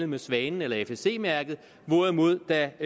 med svanen eller fsc mærket hvorimod der